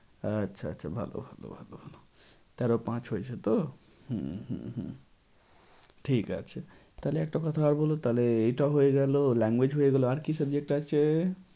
আচ্ছা আচ্ছা ভালো ভালো ভালো ভালো তেরো পাঁচ হয়েছে তো? হম হম হম ঠিক আছে তাহলে একটা কথা আর বলো তাহলে এটা হয়ে গেলো language হয়ে গেলো আর কি subject আছে?